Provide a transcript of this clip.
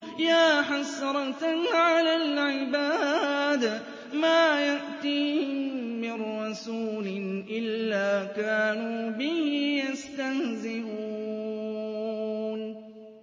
يَا حَسْرَةً عَلَى الْعِبَادِ ۚ مَا يَأْتِيهِم مِّن رَّسُولٍ إِلَّا كَانُوا بِهِ يَسْتَهْزِئُونَ